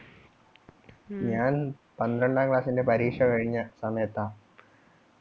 ഞാൻ പന്ത്രണ്ടാം class ന്റെ പരീക്ഷ കഴിഞ്ഞ സമയത്താ